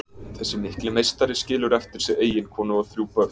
Þessi mikli meistari skilur eftir sig eiginkonu og þrjú börn.